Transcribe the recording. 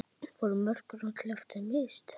Voru mörkin öll eftir mistök?